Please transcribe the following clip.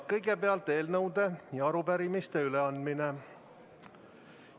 Kõigepealt on eelnõude ja arupärimiste üleandmine.